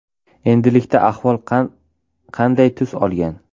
Endilikda ahvol qanqay tus olgan?